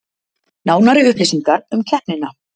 Nánari upplýsingar um keppnina